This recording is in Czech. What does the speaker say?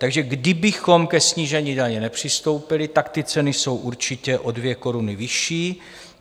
Takže kdybychom ke snížení daně nepřistoupili, tak ty ceny jsou určitě o 2 koruny vyšší.